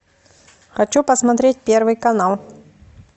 хочу посмотреть первый канал